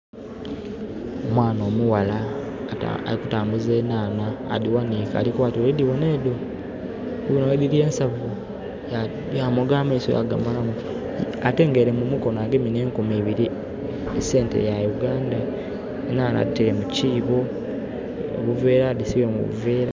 Omwana omughala alikutambuza enhaanha, adiwanike alikukoba nti "Olidibona edho, olibona bwediri ensanvu?" Yamoga amaiso yagamalamu atenga mu mukono agemye ne nkumi biri esente ya Uganda. Nhaanha aditaire mukiibo, buveera, adisibye mu buveera